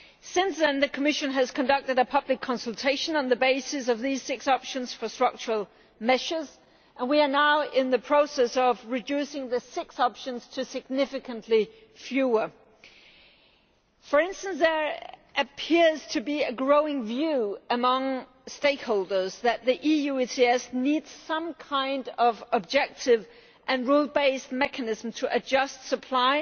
Since then the Commission has conducted a public consultation on the basis of these six options for structural measures and we are now in the process of reducing the six options to significantly fewer. For instance, there appears to be a growing view among stakeholders that the EU ETS needs some kind of objective and rule based mechanism to adjust supply